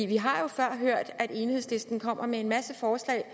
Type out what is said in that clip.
vi har jo før hørt at enhedslisten kommer med en masse forslag